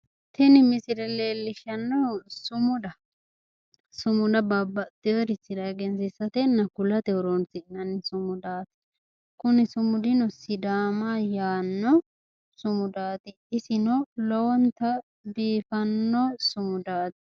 tini misile leellishshannohu sumudaho sumuda babbaxeeworichira kulatenna egensiisate horonsinanni sumudaati kuni sumudino sidaama yaanno sumudaati isino lowonta biifanno sumudaati.